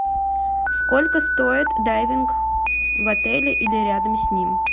сколько стоит дайвинг в отеле или рядом с ним